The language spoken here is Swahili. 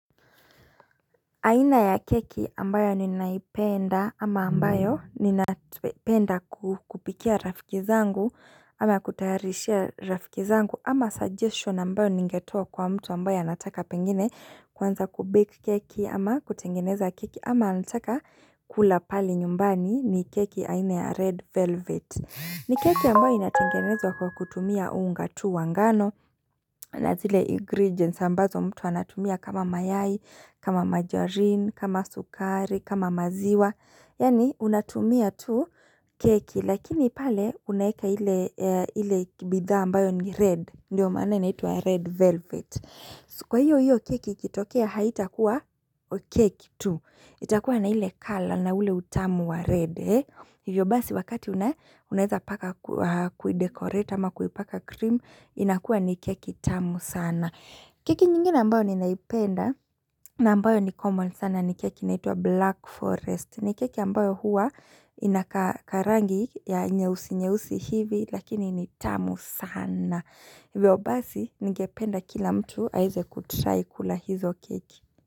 Aina ya keki ambayo ninaipenda ama ambayo ninapenda kupikia rafiki zangu ama kutayarishia rafiki zangu ama suggestion ambayo ningetoa kwa mtu ambayo anataka pengine kwanza kubake keki ama kutengeneza keki ama anataka kula pale nyumbani ni keki aina ya red velvet. Ni keki ambayo inatengenezwa kwa kutumia unga tu wa ngano na zile ingredients ambazo mtu anatumia kama mayai, kama margarine, kama sukari, kama maziwa. Yaani unatumia tu keki lakini pale unaeka ile ile bidha ambayo ni red. Ndiyo maana inaitwa red velvet. Kwa hiyo hiyo keki itokea haitakuwa keki tu. Itakuwa na ile color na ule utamu wa red. Hivyo basi wakati una unaezapaka kuidecoreta ama kuipaka cream inakua ni keki tamu sana kike nyingine ambayo ninaipenda na ambayo ni common sana ni keki inaitwa black forest ni keki ambayo huwa inakaa karangi ya nyeusi nyeusi hivi lakini ni tamu sana Hivyo basi ningependa kila mtu aize kutry kula hizo keki.